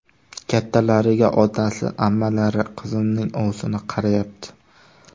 Kattalariga otasi, ammalari, qizimning ovsini qarayapti.